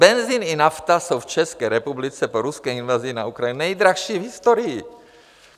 Benzin i nafta jsou v České republice po ruské invazi na Ukrajinu nejdražší v historii.